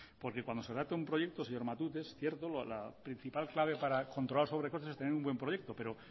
porque cuando se adapte un proyecto señor matute es cierto la principal clave para controlar sobrecostes es tener un buen proyecto pero